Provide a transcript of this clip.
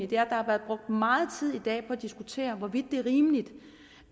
der har været brugt meget tid i dag på at diskutere hvorvidt det er rimeligt